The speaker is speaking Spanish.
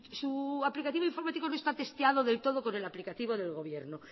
su aplicativo informático no está testeado del todo con el aplicativo del gobierno